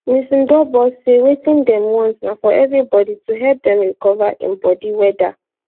mrs ndobor say wetin dem want na for evribodi to help dem recover im bodi weda